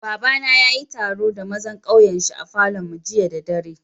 Baba na ya yi taro da mazan kauyen shi a Falo'n mu jiya da dare.